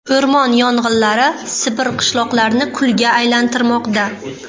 O‘rmon yong‘inlari Sibir qishloqlarini kulga aylantirmoqda.